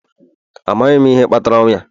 Amaghị m ihe kpatara ọnwụ ya